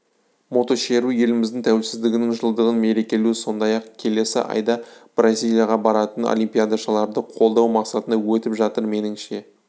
мотошеру еліміздің тәуелсіздігінің жылдығын мерекелеу сондай-ақ келесі айда бразилияға баратын олимпиадашыларды қолдау мақсатында өтіп жатыр меніңше